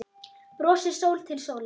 Brosir sól til sólar.